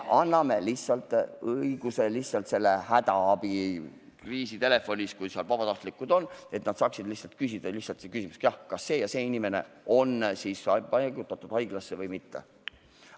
Me lihtsalt anname hädaabi- või kriisitelefoni puhul õiguse, et kui seal on vabatahtlikud, siis nad saaksid lihtsalt küsida – jah, lihtsalt küsida –, kas see ja see inimene on paigutatud haiglasse või mitte.